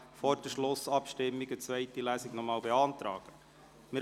Vor der Schlussabstimmung kann noch eine zweite Lesung beantragt werden.